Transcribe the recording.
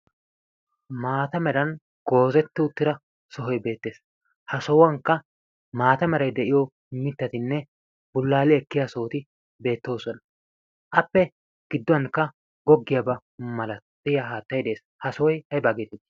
Maata meran goozeti utira sohoy beettes. Ha sohuwankka maata meray de"iyo mittatinne bullaali ekkiya sohoti beettoosona. Appe gidduwankka gogiyaaba malatiya haattay dees. Ha sohoy ayiba geetettii?